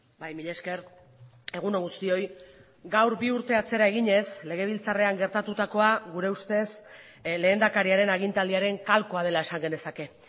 bai mila esker egun on guztioi gaur bi urte atzera eginez legebiltzarrean gertatutakoa gure ustez lehendakariaren agintaldiaren kalkoa dela esan genezake